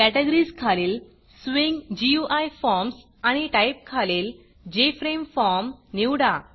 categories खालील swing GUI forms आणि type खालील जेफ्रेमफॉर्म निवडा